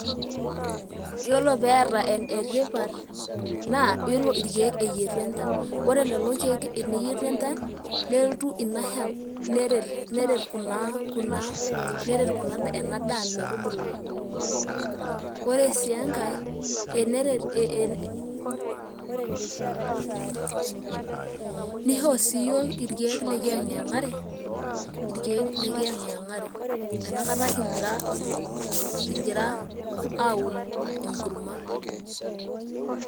Yiolo pee eeta etipat naa yiolo irkeek eyietu enchan, ore lelo keek teneyietu enchan nelotu ina shan neret kuna ena daa metubulu. Ore sii enkae, nisho sii iyiook irkeek lekiang'iyang'yang'are inakata kigira aun enkurma.